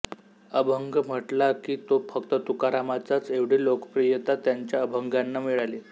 अभंग म्हटला की तो फक्त तुकारामाचाच एवढी लोकप्रियता त्यांच्या अभंगांना मिळाली